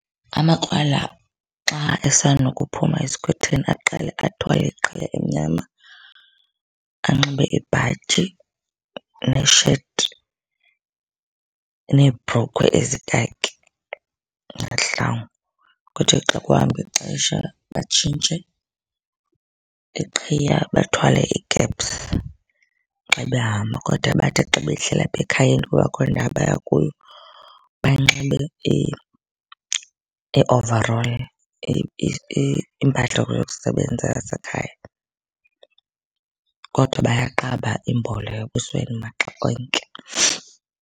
Amakrwala xa esanda kuphuma esikhwetheni aqale athwale iqhiya emnyama anxibe ibhatyi nesheti, neebhrukhwe ezikhakhi, nezihlangu. Kuthi xa kuhamba ixesha batshintshe iqhiya bathwale ikepsu xa behamba. Kodwa bathi xa behleli apha ekhayeni kungekho ndawo baya kuyo, banxibe i-overall impahla yokusebenza yasekhaya. Kodwa bayaqaba imbola ebusweni maxa onke.